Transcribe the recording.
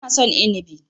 Ina son Inibi.